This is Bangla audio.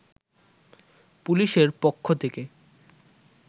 পুলিশের পক্ষ থেকে